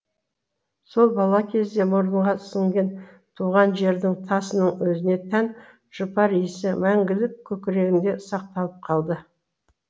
сол бала кезде мұрынға сіңген туған жердің тасының өзіне тән жұпар иісі мәңгілік көкірегінде сақталап қалды